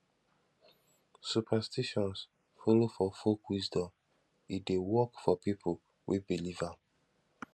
superstitions follow for folk wisdom e de work for pipo wey believe am